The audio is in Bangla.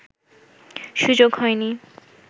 সুযোগ হয়নি